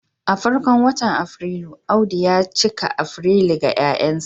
a farkon watan Afrilu, Audu ya cika Afrilu ga 'ya'yansa